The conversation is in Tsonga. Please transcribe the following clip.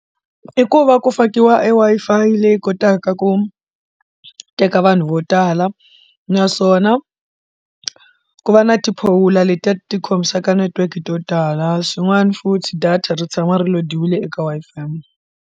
I ku va ku fakiwa e Wi-Fi leyi kotaka ku teka vanhu vo tala naswona ku va na tiphowulo letiya ti khomisaka network to tala swin'wana futhi data ri tshama ri lo dyiwile eka Wi-Fi.